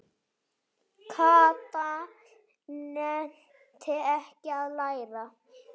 Kata nennti ekki að læra.